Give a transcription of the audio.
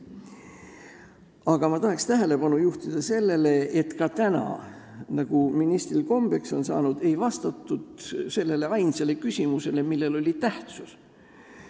Aga ma tahan tähelepanu juhtida sellele, et ka täna, nagu ministril kombeks on saanud, ei vastatud sellele ainsale küsimusele, mis tähtis on.